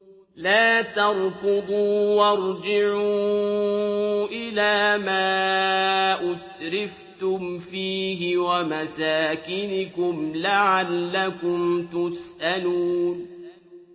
لَا تَرْكُضُوا وَارْجِعُوا إِلَىٰ مَا أُتْرِفْتُمْ فِيهِ وَمَسَاكِنِكُمْ لَعَلَّكُمْ تُسْأَلُونَ